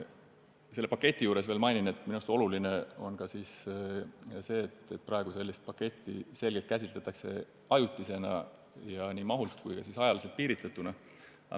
Selle paketi kohta mainin veel seda, et minu arvates on oluline ka see, et praegu käsitletakse seda paketti selgelt ajutisena, nii mahuliselt kui ka ajaliselt piiritletuna.